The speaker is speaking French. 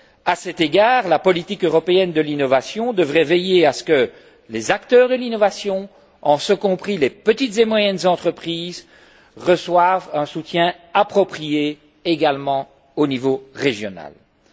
À cet égard, la politique européenne de l'innovation devrait veiller à ce que les acteurs de l'innovation, en ce compris les petites et moyennes entreprises, reçoivent un soutien approprié au niveau régional également.